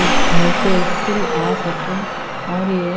घर से स्कूल आ सकें और ये --